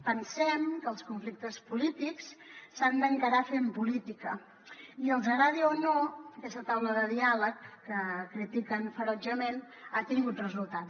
pensem que els conflictes polítics s’han d’encarar fent política i els agradi o no aquesta taula de diàleg que critiquen ferotgement ha tingut resultats